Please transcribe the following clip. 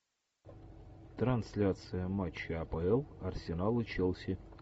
трансляция матча апл арсенал и челси